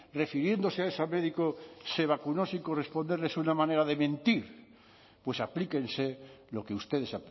refiriéndose a esa médico se vacunó sin corresponderle es una manera de mentir pues aplíquense lo que ustedes